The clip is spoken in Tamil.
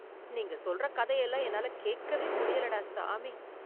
நீங்க சொல்ற கதையெல்லாம் என்னால கேக்கவே முடியலடா, சாமி